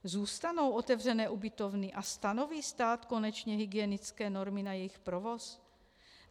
Zůstanou otevřené ubytovny a stanoví stát konečně hygienické normy na jejich provoz?